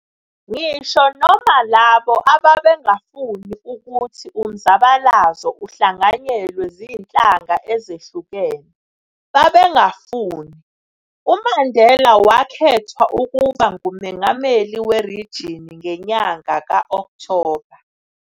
Ngisho noma labo ababengafuni uluthi umzabalazo uhlanganyelwe zinhlanga ezehlukene, babangamfuni, uMandela wakhethwa ukuba ngumongameli werijini ngenyanga ka Okthoba.